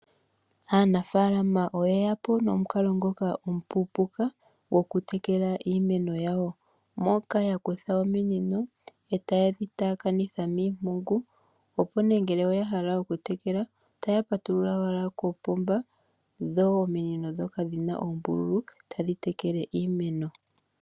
Aanafaalama oyeya po nomukalo ngoka omupuupuka gokutekela iimeno yawo moka yakutha ominino e tayedhi taakanitha miimpungu opo ne ngele oyahala okutekela, otaya patulula owala kopomba dho ominino dhoka dhina oombululu tadhitekele iimeno.